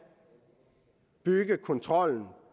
bygge kontrollen